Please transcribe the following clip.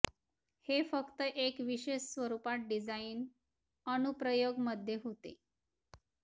हे फक्त एक विशेष स्वरूपात डिझाइन अनुप्रयोग मध्ये होते